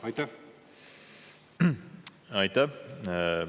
Aitäh!